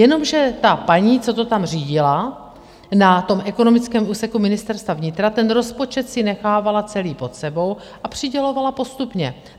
Jenomže ta paní, co to tam řídila na tom ekonomickém úseku Ministerstva vnitra, ten rozpočet si nechávala celý pod sebou a přidělovala postupně.